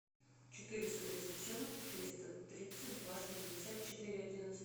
четыреста тридцать семь триста тридцать два шестьдесят четыре одиннадцать